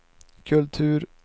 kultur